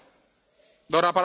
Herr Präsident!